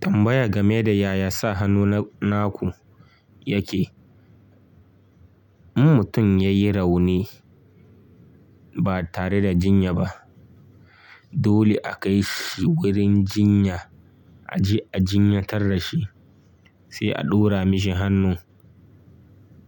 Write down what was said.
Tambaya game da yaya sa hannu na naku yake. In mutum ya yi rauni ba tare da jinya ba, dole a kai shi wurin jinya a je a jinyatar shi, sai a ɗora mishi hannu